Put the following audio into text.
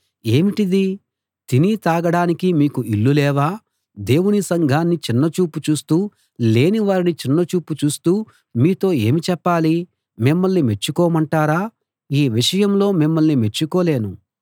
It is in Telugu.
ఏమిటిది తిని తాగడానికి మీకు ఇళ్ళు లేవా దేవుని సంఘాన్ని చిన్నచూపు చూస్తూ లేని వారిని చిన్నచూపు చూస్తూ మీతో ఏమి చెప్పాలి మిమ్మల్ని మెచ్చుకోమంటారా ఈ విషయంలో మిమ్మల్ని మెచ్చుకోలేను